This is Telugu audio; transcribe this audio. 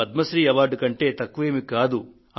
ఇది పద్మ శ్రీ అవార్డు కంటే తక్కువేమీ కాదు